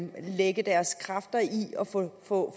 lægge deres kræfter i at få